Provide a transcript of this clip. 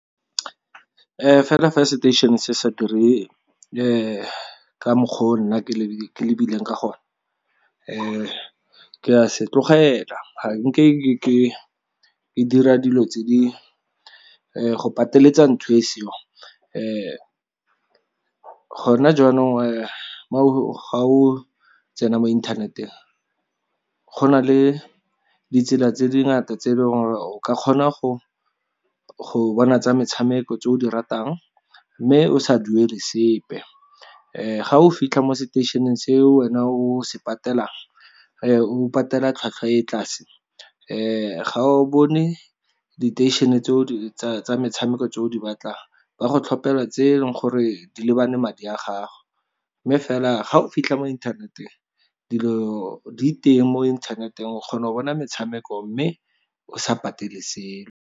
Fela fa seteišene sa dire ka mokgwa o nna ke lebileng ka gone ke a se tlogela, ga nke ke dira dilo tse di go pateletsa ntho e seong . Gone jaanong ga o tsena mo inthaneteng go na le ditsela tse dingata tse e leng gore o ka kgona go bona tsa metshameko tse o di ratang, mme o sa duele sepe. Ga o fitlha mo seteišeneng se o wena o se patelang o patela tlhwatlhwa e tlase ga o bone diteišene tsa metshameko tse o di batlang ba go tlhopelwa tse e leng gore di lebane madi a gago. Mme fela ga o fitlha mo inthaneteng dilo di teng mo inthaneteng o kgona go bona metshameko mme o sa patele .